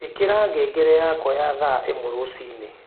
ĩkĩra ngengere yakwa ya thaaĩmwe rũciini